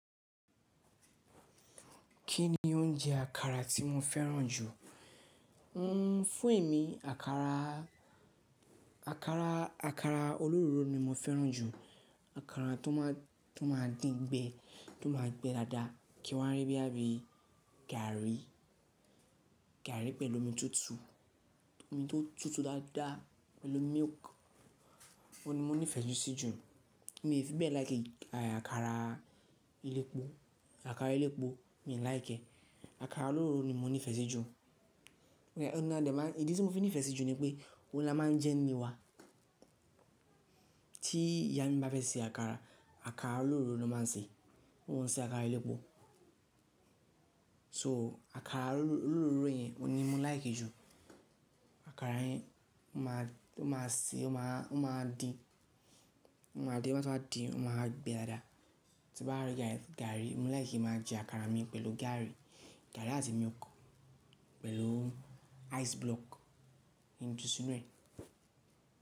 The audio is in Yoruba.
Kí ni oúnjẹ àkàrà tí mo fẹ́ràn jù? Fún èmi àkàrà, àkàrà olóróro ni mo fẹ́ràn jù. Àkàrà tó máa dín gbẹ, tó máa gbẹ dáadáa. Kí wa rí boya bi gari pẹ̀lú omi tútù, omi tó tútù dáadáa pẹ̀lú milk. Ó ni mo nífẹ̀ẹ́ sí ju. Mi ò fi bẹ́ẹ̀ like àkàrà elépo, àkàrà elépo mi ò like. Àkàrà olóró ni mo nífẹ̀ẹ́ sí ju. Ọ̀nà idi tì mo fi nífẹ̀ẹ́ sí ju ni pé ó la máa ń jẹ́ ní ile wá. Tí ìyá mi bá fẹ́ se àkàrà, àkàrà olóró ló máa ń ṣe. Won ò ṣe àkàrà elépo. So àkàrà olóró yẹn ni mo like jù. Àkàrà yẹn ó máa ṣe ó máa dín, ó máa di, ó tàn díì ó máa gbẹ dáadáa. Ti bá rí gari, mo like máa jẹ àkàrà mi pẹ̀lú gari, gari àti milk pẹ̀lú ice block nínú sínú rẹ̀